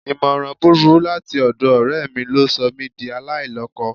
Ìmọ̀ràn búburú láti ọ̀dọ̀ ọ̀rẹ́ mi ló sọ mí di aláìlọ́kọ